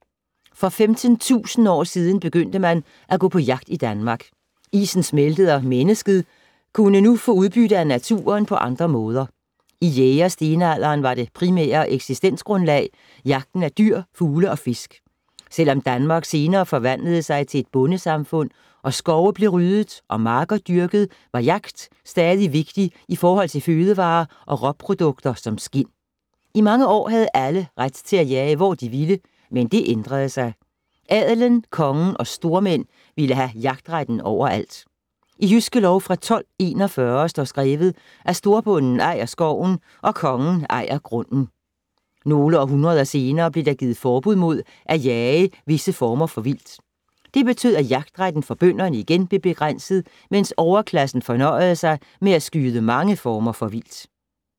For 15.000 år siden begyndte man at gå på jagt i Danmark. Isen smeltede og mennesket kunne nu få udbytte af naturen på andre måder. I jæger-stenalderen var det primære eksistensgrundlag jagten af dyr, fugle og fisk. Selvom Danmark senere forvandlede sig til et bondesamfund og skove blev ryddet og marker dyrket, var jagt stadig vigtig i forhold til fødevarer og råprodukter som skind. I mange år havde alle ret til at jage, hvor de ville, men det ændrede sig. Adelen, kongen og stormænd ville have jagtretten overalt. I Jydske Lov fra 1241 står skrevet, at storbonden ejer skoven og kongen ejer grunden. Nogle århundreder senere blev der givet forbud mod at jage visse former for vildt. Det betød, at jagtretten for bønderne igen blev begrænset, mens overklassen fornøjede sig med at skyde mange former for vildt.